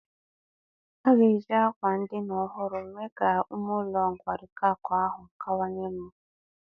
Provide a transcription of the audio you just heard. A ga-eji àkwà ndina ọhụrụ mee ka ume ụlọ nkwari akụ ahụ kawanye mma.